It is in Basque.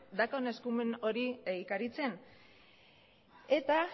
daukan eskumen hori egikaritzen eta